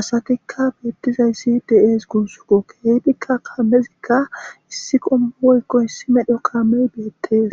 asatika beetizaysi de'es gusiko keehika kaamezika issi qomo woyko issi modhoy beetes.